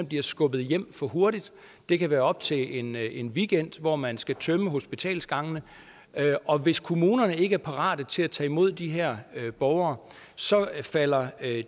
bliver skubbet hjem for hurtigt det kan være op til en en weekend hvor man skal tømme hospitalsgangene og hvis kommunerne ikke er parate til at tage imod de her borgere så falder